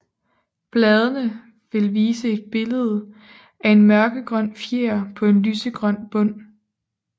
Bladene vil vise et billede af en mørkegrøn fjer på en lysegrøn bund